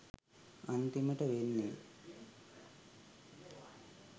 අන්තිමට වෙන්නේ